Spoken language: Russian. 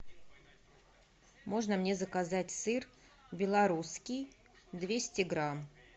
можно мне заказать сыр белорусский двести грамм